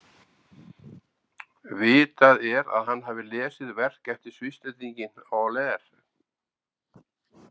Vitað er að hann hafi lesið verk eftir Svisslendinginn Euler.